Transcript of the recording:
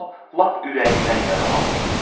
O lap ürəyindən yaralanmışdı.